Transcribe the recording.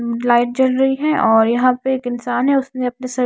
light जल रही है और यहां पे एक इंसान है उसने अपने सर --